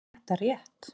Er þetta rétt?